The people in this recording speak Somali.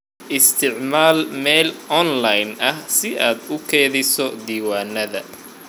Isticmaal meel online ah si aad u kaydiso diiwaanada.